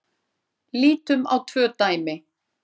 Lítum á tvö dæmi.